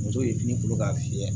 Muso ye fini bolo k'a fiyɛ